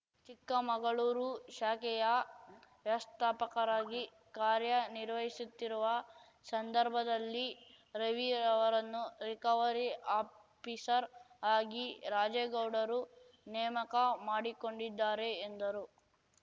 ಚಿಕ್ಕಮಗಳೂರು ಶಾಖೆಯ ವ್ಯವಸ್ಥಾಪಕರಾಗಿ ಕಾರ್ಯ ನಿರ್ವಹಿಸುತ್ತಿರುವ ಸಂದರ್ಭದಲ್ಲಿ ರವಿ ಅವರನ್ನು ರಿಕವರಿ ಆಫಿಸರ್‌ ಆಗಿ ರಾಜೇಗೌಡರು ನೇಮಕ ಮಾಡಿಕೊಂಡಿದ್ದಾರೆ ಎಂದರು